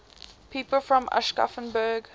people from aschaffenburg